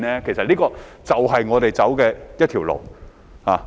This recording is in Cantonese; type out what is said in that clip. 其實，這便是我們要走的一條路。